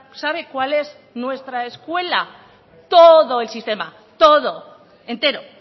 sabe cuál es nuestra escuela todo el sistema todo entero